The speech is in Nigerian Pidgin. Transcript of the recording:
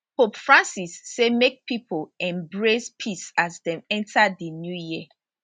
pope francis say make pipo embrace peace as dem enta di new year